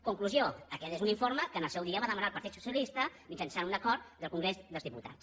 conclusió aquest és un informe que en el seu dia va demanar el partit socialista mitjançant un acord del congrés dels diputats